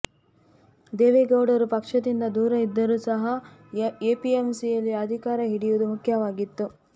ದೇವೇಗೌಡರು ಪಕ್ಷದಿಂದ ದೂರ ಇದ್ದರೂ ಸಹ ಎಪಿಎಂಸಿಯಲ್ಲಿ ಅಧಿಕಾರ ಹಿಡಿಯುವುದು ಮುಖ್ಯವಾಗಿತ್ತು